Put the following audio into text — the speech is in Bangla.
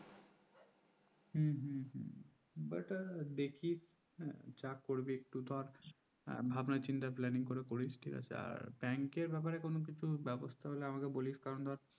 হু হু but দেখি যা করবি একটু ধর ভাবনা চিন্তা plan নিয়ে করিস আর bank ব্যাপারে কোনো কিছু ব্যবস্থা হলে আমাকে বলিস কারণ ধর